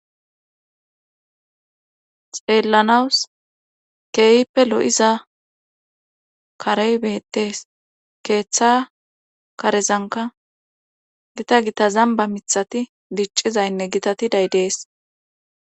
Xeellanawus keeyippe lo'iza karey beettees keeththa karezanka gita gita zamba mithati diccizaynne gitati daydees.